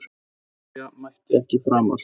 Viktoría mætti ekki framar.